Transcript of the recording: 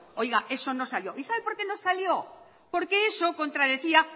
oiga eso no salió y sabe por qué no salió porque eso contradecía